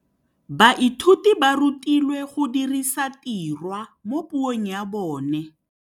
Baithuti ba rutilwe go dirisa tirwa mo puong ya bone.